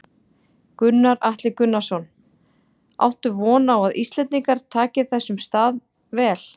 Gunnar Atli Gunnarsson: Áttu von á að Íslendingar taki þessum stað vel?